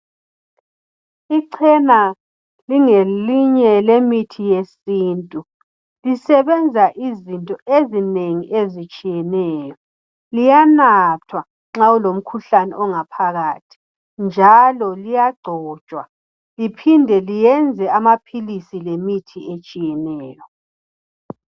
Ichena lingelinye lemithi yesintu lisebenza izinto ezinengi ezitshiyeneyo liyanathwa nxa ulomkhuhlane ongaphakathi njalo liyagcotshwa liphinde liyenze amaphilisi lemithi etshiyeneyo.